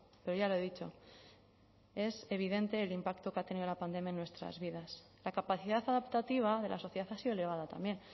pero ya lo he dicho es evidente el impacto que ha tenido la pandemia en nuestras vidas la capacidad adaptativa de la sociedad ha sido elevada también